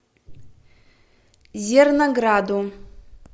зернограду